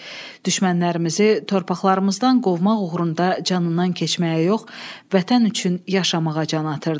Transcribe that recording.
Düşmənlərimizi torpaqlarımızdan qovmaq uğrunda canından keçməyə yox, vətən üçün yaşamağa can atırdı.